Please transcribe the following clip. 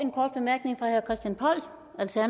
så